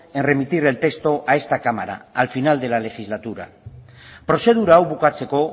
en remitir el texto a esta cámara al final de la legislatura prozedura hau bukatzeko